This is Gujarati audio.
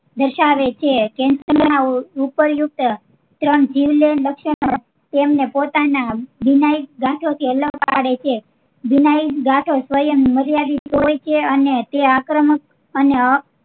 દર્શાવે છે cancer ના ઉપયુક્ત ત્રણ જીવલેણ લક્ષણો તેમને પોતાના વિનાયિક ગાંઠો થી અલગ પાડે છે વિનાયિક ગાંઠો સ્વયમ નારી આખે જોઈ છે એ આક્રમક અને અ